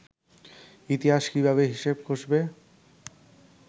ইতিহাস কীভাবে হিসেব কষবে